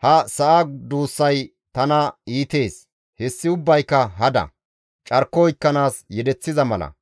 ha sa7a duussay tana iitees; hessi ubbayka hada; carko oykkanaas yedeththiza mala.